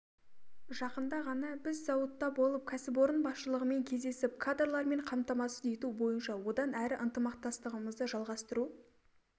жақында ғана біз зауытта болып кәсіпорын басшылығымен кездесіп кадрлармен қамтамасыз ету бойынша одан әрі ынтымақтастығымызды жалғастыру